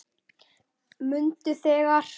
Mundu þegar